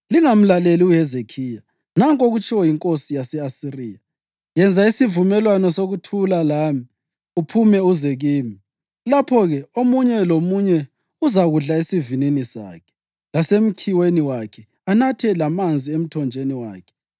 Lingamlaleli uHezekhiya. Nanku okutshiwo yinkosi yase-Asiriya: Yenza isivumelwano sokuthula lami, uphume uze kimi. Lapho-ke omunye lomunye uzakudla esivinini sakhe lasemkhiweni wakhe anathe lamanzi emthonjeni wakhe,